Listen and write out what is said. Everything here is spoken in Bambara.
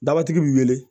Dabatigi bi wele